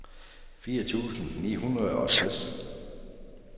firs tusind ni hundrede og tres